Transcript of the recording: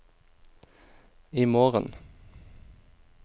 imorgen